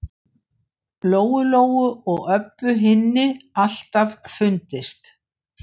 Lóu-Lóu og Öbbu hinni alltaf fundist.